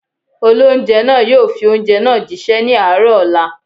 Olóunjẹ́ náà yóò fi oúnjẹ náà jí ṣẹ́ ní àárọ̀ ọ̀la